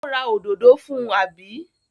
Ó ra òdòdó fún, àbí?